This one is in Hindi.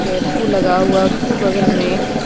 टेंपू लगा हुआ उसके बगल में--